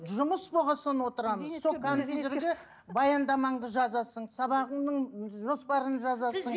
жұмыс болған соң отырамыз сол компьюьтерде баяндамаңды жазасың сабағыңның жоспарын жазасың